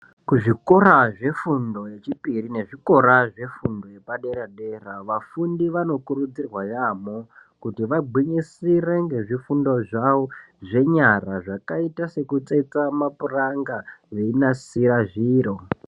Kuzvikora zvefundo yechipiri nezvikora zvefundo yepadera-dera ,vafundi vanokurudzirwa yaamho ,kuti vagwinyisire ngezvifundo zvavo zvenyara zvakaita sekutsetsa mapuranga ,veinasira zviro.